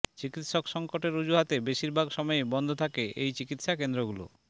চিকিৎসক সংকটের অজুহাতে বেশিরভাগ সময়ই বন্ধ থাকে এই চিকিৎসা কেন্দ্রগুলো